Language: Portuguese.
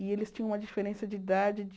E eles tinham uma diferença de idade de...